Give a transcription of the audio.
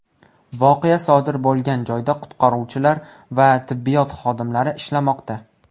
Voqea sodir bo‘lgan joyda qutqaruvchilar va tibbiyot xodimlari ishlamoqda.